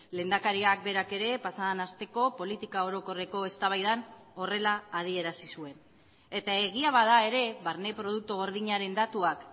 lehendakariak berak ere pasaden asteko politika orokorreko eztabaidan horrela adierazi zuen eta egia bada ere barne produktu gordinaren datuak